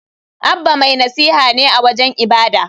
Abba mai nasiha ne a wajen ibada.